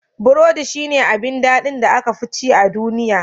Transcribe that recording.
Burodi shi ne abin daɗin da aka fi ci a duniya.